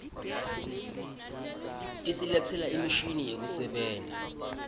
tisiletsela imishini yekusebenta